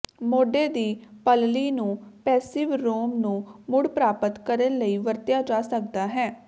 ਮੋਢੇ ਦੀ ਪਲਲੀ ਨੂੰ ਪੈਸਿਵ ਰੋਮ ਨੂੰ ਮੁੜ ਪ੍ਰਾਪਤ ਕਰਨ ਲਈ ਵਰਤਿਆ ਜਾ ਸਕਦਾ ਹੈ